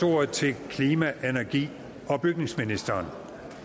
ordet til klima energi og bygningsministeren